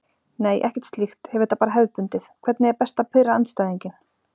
Nei ekkert slíkt, hef þetta bara hefðbundið Hvernig er best að pirra andstæðinginn?